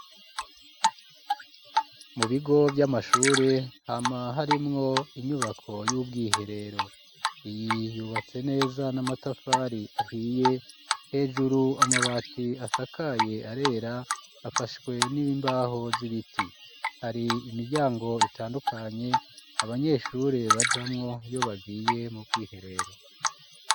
Mu bigo vy'amashure hama harimwo inyubako y'ubwiherero iyi yubatse neza n'amatafari ahiye hejuru amabati asakaye arera afashwe n'ibimbaho z'ibiti hari imiryango itandukanye abanyeshure bajamwo iiyo bagiye mu bwiherero.